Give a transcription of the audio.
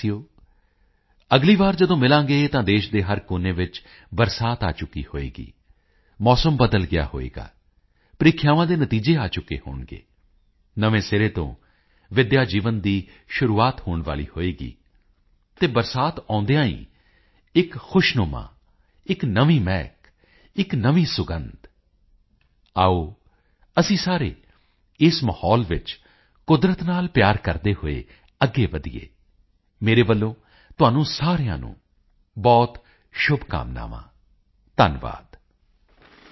ਮੇਰੇ ਪਿਆਰੇ ਦੇਸ਼ ਵਾਸੀਓ ਅਗਲੀ ਵਾਰੀ ਜਦੋਂ ਮਿਲਾਂਗੇ ਤਾਂ ਦੇਸ਼ ਦੇ ਹਰ ਕੋਨੇ ਵਿੱਚ ਬਰਸਾਤ ਆ ਚੁੱਕੀ ਹੋਵੇਗੀ ਮੌਸਮ ਬਦਲ ਗਿਆ ਹੋਵੇ ਪ੍ਰੀਖਿਆਵਾਂ ਦੇ ਨਤੀਜੇ ਆ ਚੁੱਕੇ ਹੋਣਗੇ ਨਵੇਂ ਸਿਰੇ ਤੋਂ ਵਿੱਦਿਆ ਜੀਵਨ ਦੀ ਸ਼ੁਰੂਆਤ ਹੋਣ ਵਾਲੀ ਹੋਵੇਗੀ ਅਤੇ ਬਰਸਾਤ ਆਉਦਿਆਂ ਹੀ ਇੱਕ ਨਵੀਂ ਖੁਸ਼ਨੁਮਾ ਇੱਕ ਨਵੀਂ ਮਿਹਕ ਇੱਕ ਨਵੀਂ ਸੁਗੰਧ ਆਓ ਅਸੀਂ ਸਾਰੇ ਇਸ ਮਾਹੌਲ ਵਿੱਚ ਕੁਦਰਤ ਨਾਲ ਪਿਆਰ ਕਰਦੇ ਹੋਏ ਅੱਗੇ ਵਧੀਏ ਮੇਰੇ ਵੱਲੋਂ ਤੁਹਾਨੂੰ ਸਾਰਿਆਂ ਨੂੰ ਬਹੁਤ ਸ਼ੁਭਕਾਮਨਾਵਾਂ ਧੰਨਵਾਦ